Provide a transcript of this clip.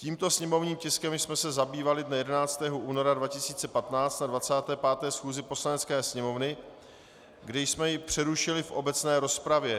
Tímto sněmovním tiskem jsme se zabývali dne 11. února 2015 na 25. schůzi Poslanecké sněmovny, kdy jsme jej přerušili v obecné rozpravě.